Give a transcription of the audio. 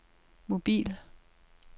mobil